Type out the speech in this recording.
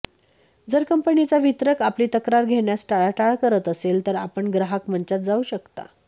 जर कंपनीचा वितरक आपली तक्रार घेण्यास टाळाटाळ करत असेल तर आपण ग्राहक मंचात जावू शकता